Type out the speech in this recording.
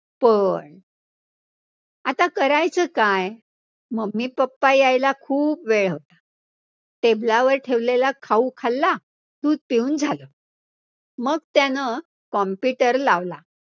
पण, आता करायचं काय, mummy papa यायला खूप वेळ होता, table वर ठेवलेला खाऊ खाल्ला, दूध पिऊन झालं, मग त्यानं computer लावला.